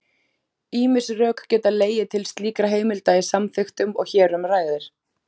Ýmis rök geta legið til slíkra heimilda í samþykktum og hér um ræðir.